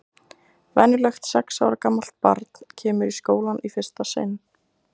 Venjulegt sex ára gamalt barn kemur í skólann í fyrsta sinn.